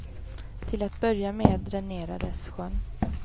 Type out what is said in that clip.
Till att börja med dränerades sjön.